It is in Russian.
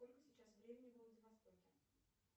сколько сейчас времени во владивостоке